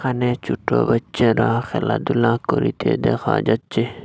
এখানে ছোট বাচ্চারা খেলাধূলা করিতে দেখা যাচ্ছে।